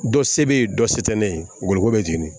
Dɔ se bɛ yen dɔ se tɛ ne ye goloko bɛ jeni